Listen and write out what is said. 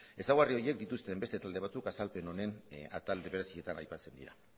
ezaugarri horiek dituzten hainbeste talde batzuk azalpen honen atal berezietan aipatzen dira